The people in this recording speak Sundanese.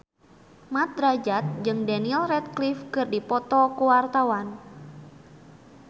Mat Drajat jeung Daniel Radcliffe keur dipoto ku wartawan